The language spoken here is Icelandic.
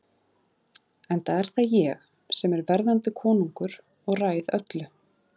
Enda er það ég sem er verðandi konungur og ræð öllu.